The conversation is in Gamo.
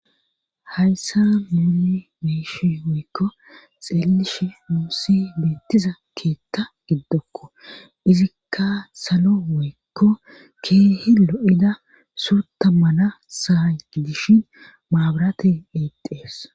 Hayssa nunni meeshi woykko xiellish muusi beettiza keetta giddokko izikka salo woykko keehe lo7ida surta mana saani dishin maabarate eiqxees